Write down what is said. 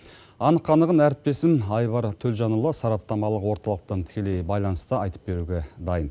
анық қанығын әріптесім айбар төлжанұлы сараптамалық орталықтан тікелей байланыста айтып беруге дайын